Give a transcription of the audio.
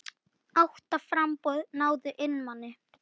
Átta framboð náðu inn manni.